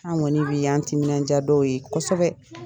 An kɔni y'an timinanja dɔw ye kosɛbɛ.